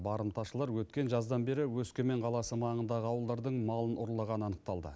барымташылар өткен жаздан бері өскемен қаласы маңындағы ауылдардың малын ұрлағаны анықталды